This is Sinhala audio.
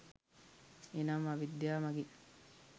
එනම් අවිද්‍යාව මඟින්